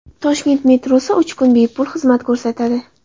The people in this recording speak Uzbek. Toshkent metrosi uch kun bepul xizmat ko‘rsatadi.